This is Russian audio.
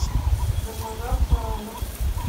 гармажап саранов